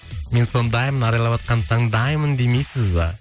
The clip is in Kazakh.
мен сондаймын арайлап атқан таңдаймын демейсіз бе